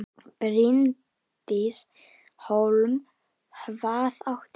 Bryndís Hólm: Hvað áttu við?